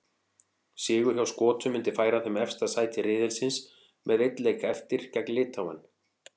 Sigur hjá Skotum myndi færa þeim efsta sæti riðilsins með einn leik eftir, gegn Litháen.